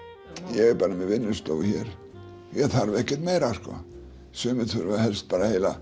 er bara með vinnustofu hér ég þarf ekkert meira sumir þurfa helst bara heila